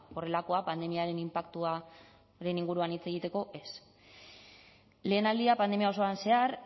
horrelakoak pandemiaren inpaktuaren inguruan hitz egiteko ez lehenaldia pandemia osoan zehar